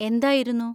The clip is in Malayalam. എന്തായിരുന്നു?